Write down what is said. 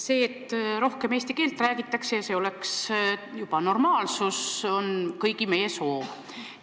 See, et rohkem eesti keelt räägitaks ja see oleks normaalsus, on kõigi meie soov.